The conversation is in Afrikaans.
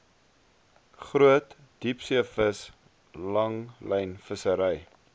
groot diepseevis langlynvissery